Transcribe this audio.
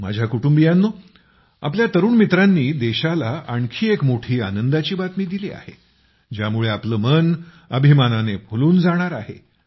माझ्या कुटुंबियांनो आपल्या तरुण मित्रांनी देशाला आणखी एक मोठी आनंदाची बातमी दिली आहे ज्यामुळे आपले मन अभिमानाने फुलून जाणार आहे